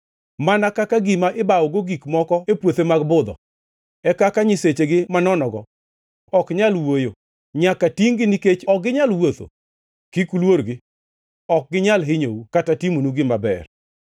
Mana kaka gima ibwogogo gik moko e puothe mag budho, e kaka nyisechegi manonogo ok nyal wuoyo; nyaka tingʼ-gi nikech ok ginyal wuotho. Kik uluorgi; ok ginyal hinyou kata timonu gima ber.”